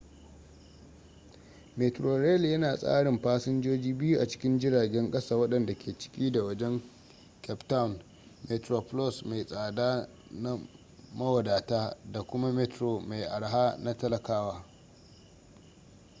metrorail yana tsarin fasinjoji biyu a cikin jiragen kasa wadanda ke ciki da wajen cape town: metroplus mai tsada na mawadata da kuma metro mai araha na talakawa